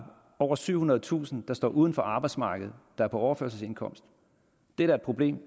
over syvhundredetusind der står uden for arbejdsmarkedet der er på overførselsindkomst det er da et problem